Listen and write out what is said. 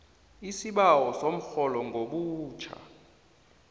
isibawo somrholo ngobutjha